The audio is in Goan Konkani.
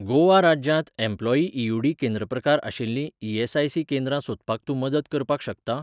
गोवा राज्यांत एम्प्लॉयी.ई.यू.डी. केंद्र प्रकार आशिल्लीं ई.एस.आय.सी केंद्रां सोदपाक तूं मदत करपाक शकता?